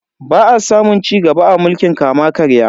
Ba a samun cigaba a mulkin kama-karya.